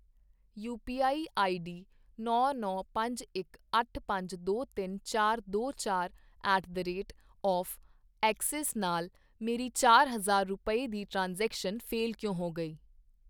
you P I I D ਨੌਂ ਨੌਂ ਪੰਜ ਇੱਕ ਅੱਠ ਪੰਜ ਦੋ ਤਿੰਨ ਚਾਰ ਦੋ ਚਾਰ at the rate of Axis ਨਾਲ ਮੇਰੀ ਚਾਰ ਹਜ਼ਾਰ ਰੁਪਏ ਦੀ ਟ੍ਰਾਂਜੈਕਸ਼ਨ ਫੇਲ੍ਹ ਕਿਉਂ ਹੋ ਗਈ